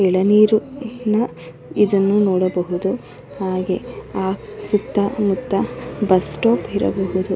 ಎಳನೀರು ನ್ನ ಇದನ್ನ ನೋಡಬಹುದು ಹಾಗೆ ಆ ಸುತ್ತ ಮುತ್ತ ಬಸ್ಸ್ ಸ್ಟೋಪ್ ಇರಬಹುದು.